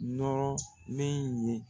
Nɔrɔ min ye.